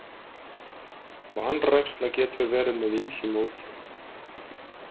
Vanræksla getur verið með ýmsu móti.